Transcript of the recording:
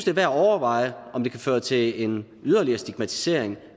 er værd at overveje om det kan føre til en yderligere stigmatisering